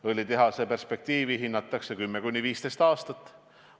Õlitehase perspektiivi hinnatakse 10–15 aasta peale.